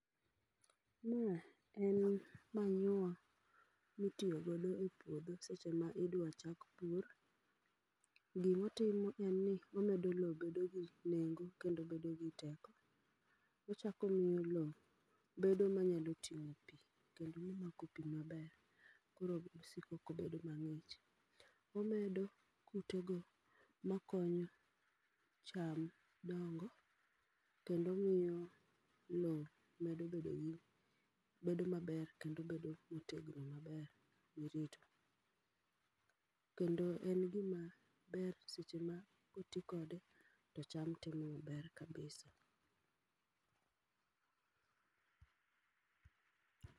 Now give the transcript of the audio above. Ma en manyiwa mitiyo godo e puodho seche ma idwa chak pur. Gimotimo en ni omedo lo bedo gi nengo kendo bedo gi teko. Ochakomiyo lo bedo manyalo ting'o pi kendo mamako pi maber, koro osiko kobedo mang'ich. Omedo kute go makonyo cham dongo, kendo omiyo lo medo bedo bedo maber kendo bedo motegno maber mirito. Kendo en gima ber seche ma koti kode to cham timo maber kabisa.